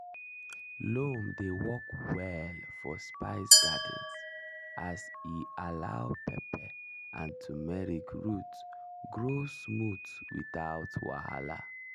loam dey work well for spice gardens as e allow pepper and turmeric root grow smooth without wahala.